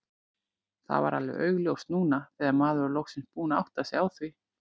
Það var alveg augljóst núna þegar maður var loksins búinn að átta sig á því.